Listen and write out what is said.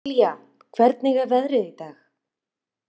Amilía, hvernig er veðrið í dag?